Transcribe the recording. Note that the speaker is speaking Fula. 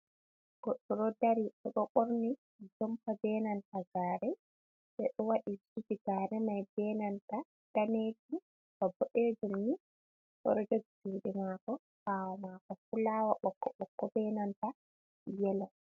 Goɗɗo ɗo dari, oɗo ɓorni jumpa benanta gare, ɓe ɗo wadi zubi ga remai benanta danejum ba boɗejum ni, oɗo jugi juɗi mako, ɓawo mako fulawa ɓokko ɓokko benanta yelo.